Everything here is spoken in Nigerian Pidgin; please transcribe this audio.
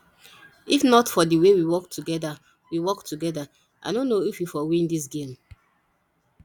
if not for the way we work together we work together i no know if we for win dis game